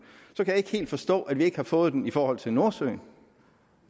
så kan jeg ikke helt forstå at vi ikke har fået den i forhold til nordsøen